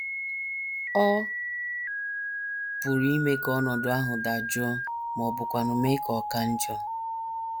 Ọ pụrụ ime ka ọnọdụ ahụ dajụọ ma ọ bụkwanụ mee ka ọ ka njọ.